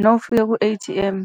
Nawufika ku-A_T_M,